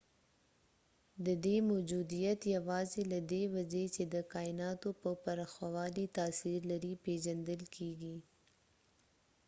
ددې موجودیت یواځې له دې وجې چې د کایناتو پر پراخوالي تاثیر لري پیژندل کیږي